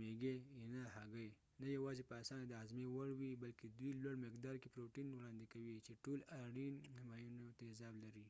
میږي، اینه، هګۍ نه یواځې په اسانه د هاضمې وړ وي، بلکې دوی لوړ مقدار کې پروټین وړاندې کوي چې ټول اړین اماینو تېزاب لري